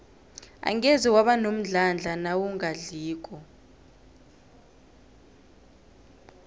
angeze waba nomdlandla nawungadliko